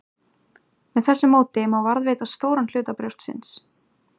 Með þessu móti má varðveita stóran hluta brjóstsins.